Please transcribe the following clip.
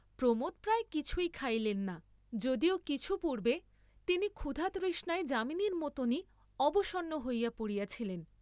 প্রমোদ প্রায় কিছুই থাইলেন না, যদিও কিছু পূর্ব্বে তিনি ক্ষুধা তৃষ্ণায় যামিনীর মতনই অবসন্ন হইয়া পড়িয়াছিলেন।